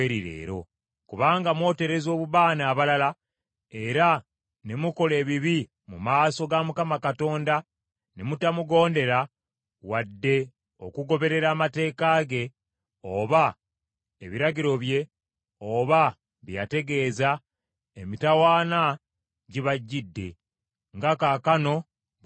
Kubanga mwotereza obubaane abalala era ne mukola ebibi mu maaso ga Mukama Katonda ne mutamugondera wadde okugoberera amateeka ge oba ebiragiro bye oba bye yategeeza, emitawaana gibagidde nga kaakano bwe mulabye.”